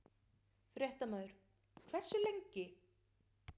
Fréttamaður: Hversu lengi?